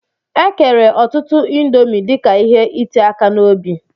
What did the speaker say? E kere ọtụtụ índomi dika ihe iti aka n'obi.